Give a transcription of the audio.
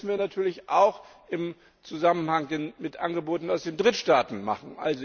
Das müssen wir natürlich auch im Zusammenhang mit Angeboten aus den Drittstaaten machen.